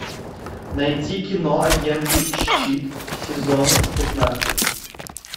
найти кино агенты щит сезон пятнадцать